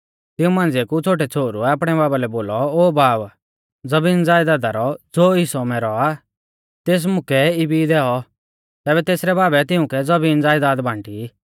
तिऊं मांझ़िऐ कु छ़ोटै छ़ोहरुऐ आपणै बाबा लै बोलौ ओ बाब ज़बीनज़यदादा दी ज़ो मैरौ हिस्सौ आ तेस मुकै इबी दैऔ तैबै तेसरै बाबै तिउंकै ज़बीनज़यदाद बांटी